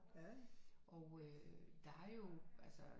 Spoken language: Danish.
Og øh der er jo altså